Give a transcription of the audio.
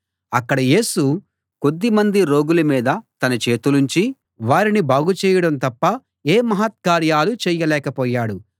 అక్కడ యేసు కొద్దిమంది రోగుల మీద తన చేతులుంచి వారిని బాగుచేయడం తప్ప ఏ మహత్కార్యాలూ చేయలేకపోయాడు